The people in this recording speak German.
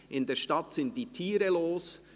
In der Stadt sind die Tiere los».